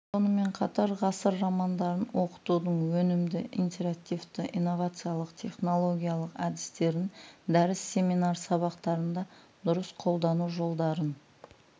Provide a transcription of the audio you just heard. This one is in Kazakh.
сонымен қатар ғасыр романдарын оқытудың өнімді интерактивті инновациялық технологиялық әдістерін дәріс семинар сабақтарында дұрыс қолдану жолдарын